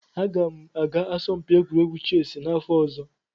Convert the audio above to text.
Aga m aga asọmpi egwuregwu chessị n'afọ ọzọ.